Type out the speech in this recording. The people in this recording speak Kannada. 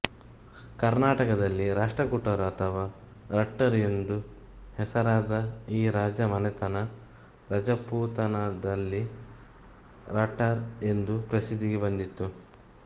ಕರ್ನಾಟಕದಲ್ಲಿ ರಾಷ್ಟ್ರಕೂಟರು ಅಥವಾ ರಟ್ಟರು ಎಂದು ಹೆಸರಾದ ಈ ರಾಜ ಮನೆತನ ರಾಜಪುತಾನದಲ್ಲಿ ರಾಠಾರ್ ಎಂದು ಪ್ರಸಿದ್ದಿಗೆ ಬಂದಿತ್ತು